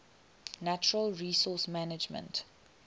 natural resource management